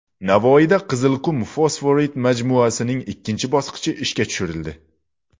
Navoiyda Qizilqum fosforit majmuasining ikkinchi bosqichi ishga tushirildi.